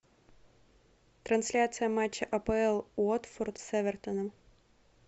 трансляция матча апл уотфорд с эвертоном